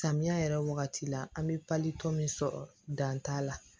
Samiya yɛrɛ wagati la an be pali tɔ min sɔrɔ dan t'a la